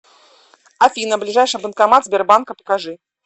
афина ближайший банкомат сбербанка покажи